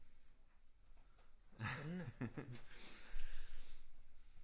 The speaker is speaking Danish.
Spændende